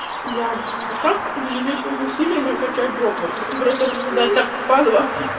бля как без лишних усилий накачать жопу просто приседать так в падлу